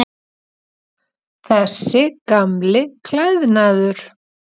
Þessi gamli klæðnaður.